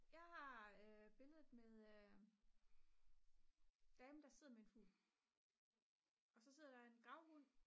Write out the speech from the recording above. jeg har billedet med damen der sidder med en fugl og så sidder der en gravhund